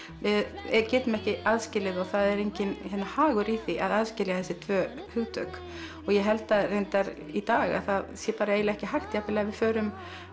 við getum ekki aðskilið og það er enginn hagur í því að aðskilja þessi tvö hugtök og ég held að reyndar í dag að það sé ekki hægt jafnvel ef við förum